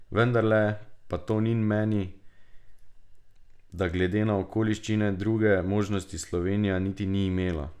Vendarle pa Tonin meni, da glede na okoliščine druge možnosti Slovenija niti ni imela.